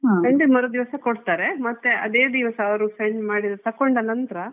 ಮರುದಿವಸ ಕೊಡ್ತಾರೆ ಮತ್ತೆ ಅದೇ ದಿವಸ ಅವ್ರು ತಕೊಂಡ ನಂತ್ರ.